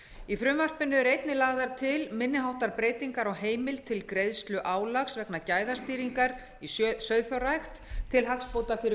í frumvarpinu eru einnig lagðar til minni háttar breytingar á heimild til greiðslu álags vegna gæðastýringar í sauðfjárrækt til hagsbóta fyrir